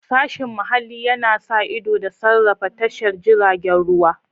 Sashen muhalli yana sa ido da sarrafa tashar jiragen ruwa.